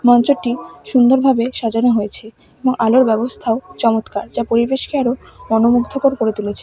মঞ্চটি সুন্দরভাবে সাজানো হয়েছে এবং আলোর ব্যবস্থাও চমৎকার যা পরিবেশকে আরো মনোমুগ্ধকর করে তুলেছে।